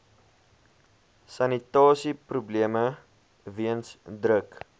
sanitasieprobleme weens druk